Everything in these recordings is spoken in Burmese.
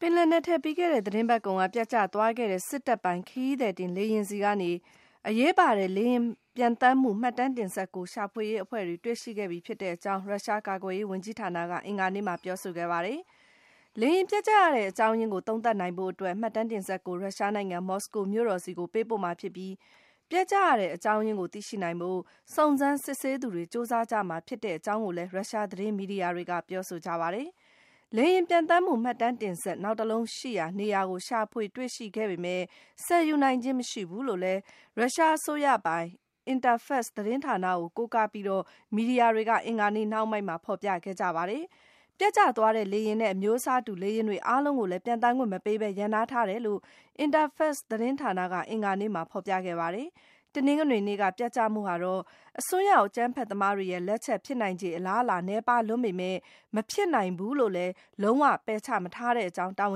ပင်လယ်နက်ထဲ ပြီးခဲ့တဲ့သီတင်းပတ်ကုန်က ပျက်ကျသွားခဲ့တဲ့ စစ်တပ်ပိုင် ခရီးသည်တင်လေယာဉ်ဆီကနေ အရေးပါတဲ့ လေယာဉ်ပျံသန်းမှု မှတ်တမ်းတင်စက်ကို ရှာဖွေရေးအဖွဲ့တွေ တွေ့ရှိခဲ့ပြီဖြစ်ကြောင်း ရုရှားကာကွယ်ရေးဝန်ကြီးဌာနက အင်္ဂါနေ့မှာ ပြောဆိုခဲ့ပါတယ်။ လေယာဉ်ပျက်ကျရတဲ့ အကြောင်းရင်းကို သုံးသပ်နိုင်ဖို့အတွက် မှတ်တမ်းတင်စက်ကို ရုရှားနိုင်ငံ မော်စကိုမြို့တော်ဆီ ပေးပို့မှာဖြစ်ပြီး၊ ပျက်ကျရတဲ့ အကြောင်းရင်းကို သိရှိနိုင်ဖို့ စုံစမ်းစစ်ဆေးသူတွေ ကြိုးစားကြမှာ ဖြစ်ကြောင်းကိုလည်း ရုရှားသတင်းမီဒီယာတွေက ပြောဆိုကြပါတယ်။ လေယာဉ်ပျံသန်းမှု မှတ်တမ်းတင်စက် နောက်တလုံးရှိရာ နေရာကို ရှာဖွေတွေ့ရှိခဲ့ပေမဲ့၊ ဆယ်ယူနိုင်ခြင်း မရှိဘူးလို့လည်း ရုရှားအစိုးရပိုင် Interfax သတင်းဌာနကို ကိုးကားပြီး မီဒီယာတွေက အင်္ဂါနေ့နှောင်းပိုင်းမှာ ဖော်ပြခဲ့ကြတာပါ။ ပျက်ကျသွားတဲ့ လေယာဉ်နဲ့ အမျိုးအစားတူ လေယာဉ်တွေ အားလုံးကို ပျံသန်းခွင့်မပေးဘဲ ရပ်နားထားတယ်လို့လည်း Interfax သတင်းဌာနက အင်္ဂါနေ့မှာ ဖော်ပြခဲ့ပါတယ်။ တနင်္ဂနွေနေ့က ပျက်ကျမှုဟာတော့ အစွန်းရောက် အကြမ်းဖက်သမားတွေရဲ့လက်ချက် ဖြစ်နိုင်ချေ အလားအလာ နည်းပါးလွန်းပေမဲ့ - မဖြစ်နိုင်ဘူးလို့လည်း လုံး၀ ပယ်ချမထားတဲ့ အကြောင်း တာဝ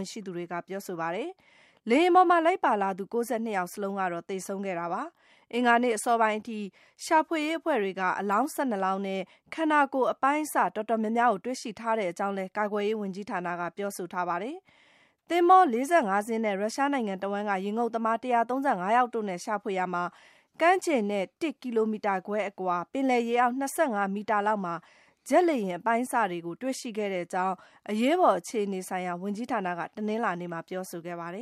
န်ရှိသူတွေက ပြောဆိုပါတယ်။ လေယာဉ်ပေါ်မှာ လိုက်ပါလာသူ ၉၂ ယောက်စလုံးကတော့ သေဆုံးခဲ့တာပါ။ အင်္ဂါနေ့အစောပိုင်းအထိ ရှာဖွေရေးအဖွဲ့တွေက အလောင်း ၁၂ လောင်းနဲ့ ခန္ဓာကိုယ်အပိုင်းအစ တော်တော်များများကို တွေ့ရှိထားကြောင်းလည်း ကာကွယ်ရေးဝန်ကြီးဌာနက ပြောဆိုထားပါတယ်။ သင်္ဘော ၄၅ စင်းနဲ့ ရုရှားနိုင်ငံတဝှမ်းက ရေငုပ်သမား ၁၃၅ ယောက်တို့နဲ့ ရှာဖွေရှာမှာ - ကမ်းခြေနဲ့ ၁ ကီလိုမီတာခွဲအကွာ ပင်လယ်ရေအောက် ၂၅ မီတာလောက်မှာ ဂျက်လေယာဉ် အပိုင်းအစတွေကို တွေ့ရှိခဲ့တဲ့အကြောင်း အရေးပေါ်အခြေအနေဆိုင်ရာ ဝန်ကြီးဌာနက တနင်္လာနေ့မှာ ပြောဆိုခဲ့ပါ တယ